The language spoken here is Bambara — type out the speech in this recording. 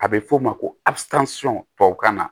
A bɛ f'o ma ko tubabukan na